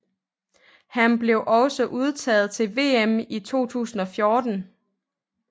Han blev også udtaget til VM i 2014